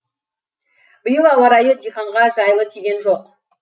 биыл ауа райы диқанға жайлы тиген жоқ